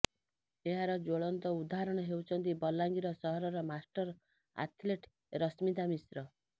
ଏହାର ଜ୍ୱଳନ୍ତ ଉଦାହରଣ ହେଉଛନ୍ତି ବଲାଙ୍ଗିର ସହରର ମାଷ୍ଟର୍ ଆଥଲେଟ୍ ରଶ୍ମିତା ମିଶ୍ର